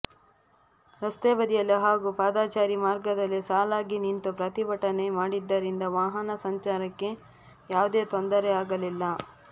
ರಸ್ತೆ ಬದಿಯಲ್ಲಿ ಹಾಗೂ ಪಾದಚಾರಿ ಮಾರ್ಗದಲ್ಲಿ ಸಾಲಾಗಿ ನಿಂತು ಪ್ರತಿಭಟನೆ ಮಾಡಿದ್ದರಿಂದ ವಾಹನ ಸಂಚಾರಕ್ಕೆ ಯಾವುದೇ ತೊಂದರೆಯಾಗಲಿಲ್ಲ